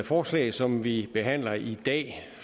forslag som vi behandler i dag